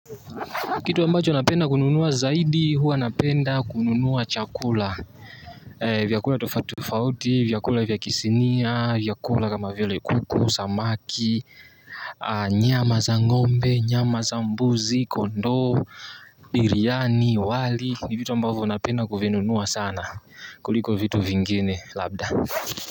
Kitu ambacho napenda kununua zaidi huwa napenda kununua chakula. Vyakula tofauti tofauti, vyakula vya kisinia, vyakula kama vile kuku, samaki, nyama za ngombe, nyama za mbuzi, kondoo, biryani, wali, ni vitu ambavyo napenda kuvinunua sana kuliko vitu vingine labda.